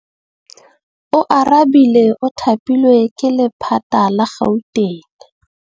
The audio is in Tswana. Oarabile o thapilwe ke lephata la Gauteng.